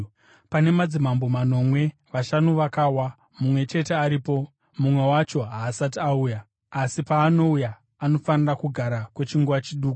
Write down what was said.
Pane madzimambo manomwewo. Vashanu vakawa, mumwe chete aripo, mumwe wacho haasati auya; asi paanouya, anofanira kugara kwechinguva chiduku.